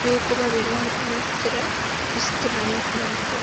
be kuma ɓedo naftira ɓe fistira not man fu.